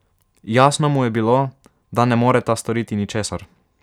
Jasno mu je bilo, da ne moreta storiti ničesar.